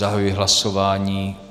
Zahajuji hlasování.